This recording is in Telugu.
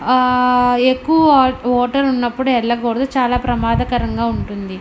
ఆ ఎక్కువ ఓ- వాటర్ ఉన్నప్పుడు వెళ్ళకూడదు చాలా ప్రమాదకరంగా ఉంటుంది.